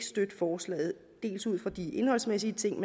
støtte forslaget dels ud fra de indholdsmæssige ting